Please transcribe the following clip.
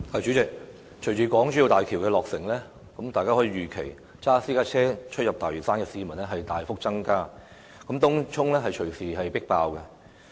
主席，隨着港珠澳大橋的落成，大家可以預期駕駛私家車往返大嶼山的市民會大幅增加，東涌隨時會出現"迫爆"的情形。